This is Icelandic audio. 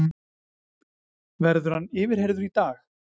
Verður hann yfirheyrður í dag